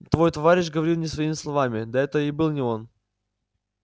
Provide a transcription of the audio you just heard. твой товарищ говорил не своими словами да это и был не он